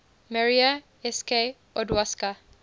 maria sk odowska